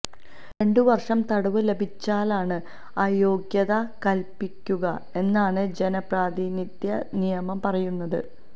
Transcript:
രണ്ടു വര്ഷം തടവ് ലഭിച്ചാലാണ് അയോഗ്യത കല്പ്പിക്കുക എന്നാണ് ജനപ്രാതിനിധ്യ നിയമം പറയുന്നത്